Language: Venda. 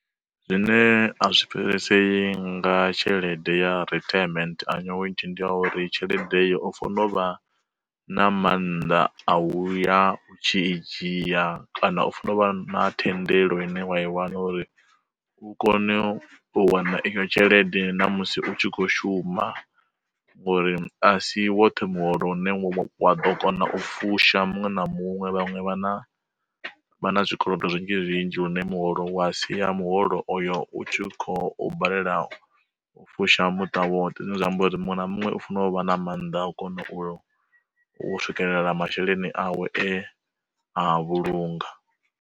Zwine a zwi pfhesesi nga tshelede ya retirement annuity ndi ya uri tshelede iyo o fonovha na maanḓa a u ya u tshi i dzhia, kana u funo uvha na thendelo ine wa i wana uri u kone u wana iyo tshelede na musi u tshi kho shuma. Ngori a si woṱhe muholo une wa ḓo kona u fusha muṅwe na muṅwe vhaṅwe vha na, vha na zwikolodo zwinzhi zwinzhi lune muholo wa sia muholo oyo u tshi kho u balelwa u fusha muṱa woṱhe, zwine zwa amba uri muṅwe na muṅwe u fanela u vha na maanḓa a kona u swikelela masheleni awe e a vhulunga.